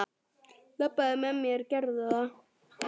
Labbaðu með mér, gerðu það!